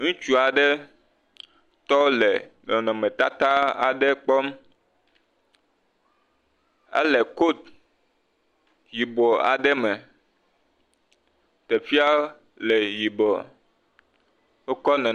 Ŋutsu aɖe tɔ le nɔnɔmetata aɖe kpɔm. Ele kotu yibɔɔ aɖe me. Teƒea le yibɔɔ, wokɔ le.